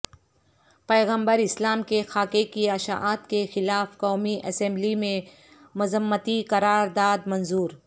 پیغمبر اسلام کے خاکے کی اشاعت کے خلاف قومی اسمبلی میں مذمتی قرار داد منظور